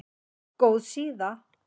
Góð síða